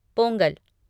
Pongal